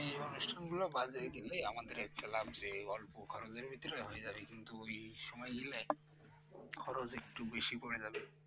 এই অনুষ্ঠানগুলো বাজারে কিনবে আমাদের একটা লাগছে অল্প খরচে হয়ে যাবে কিন্তু সময় নিলে খরচ একটু বেশি পরে যাবে